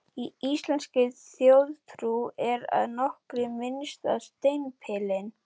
Í íslenskri þjóðtrú er að nokkru minnst á steindepilinn.